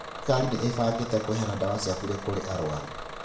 Thirikari nĩ ĩbangĩte kũheana dawa cia burĩ kũrĩ arwaru.